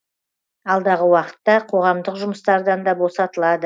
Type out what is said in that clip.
алдағы уақытта қоғамдық жұмыстардан да босатылады